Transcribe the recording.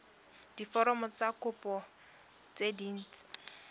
diforomo tsa kopo tse dint